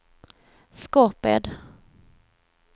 Skorped